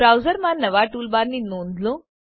બ્રાઉઝરમાં નવા ટૂલબારની નોંધ લો